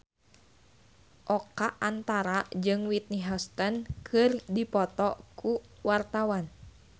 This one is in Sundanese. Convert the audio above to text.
Oka Antara jeung Whitney Houston keur dipoto ku wartawan